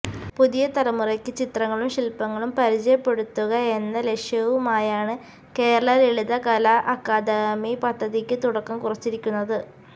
പുതിയ തലമുറയ്ക്ക് ചിത്രങ്ങളും ശില്പങ്ങളും പരിചയപ്പെടുത്തുക എന്ന ലക്ഷ്യവുമായാണ് കേരള ലളിതകലാ അക്കാദമി പദ്ധതിക്ക് തുടക്കം കുറിച്ചിരിക്കുന്നത്